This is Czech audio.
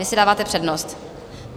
Vy si dáváte přednost?